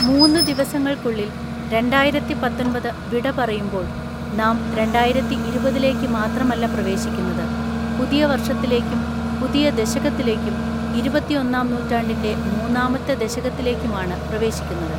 മൂന്ന് ദിവസങ്ങൾക്കുള്ളിൽ രണ്ടായിരത്തിപത്തൊൻപത് വിട പറയുമ്പോൾ നാം രണ്ടായിരത്തിഇരുപതിലേക്ക് മാത്രമല്ല പ്രവേശിക്കുന്നത്, പുതിയ വർഷത്തിലേക്കും, പുതിയ ദശകത്തിേലക്കും, ഇരുപത്തിഒന്നാം നൂറ്റാണ്ടിൻ്റെ മൂന്നാമത്തെ ദശകത്തിലേക്കുമാണ് പ്രവേശിക്കുന്നത്.